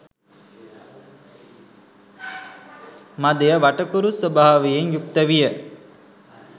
මදය වටකුරු ස්වභාවයෙන් යුක්ත විය.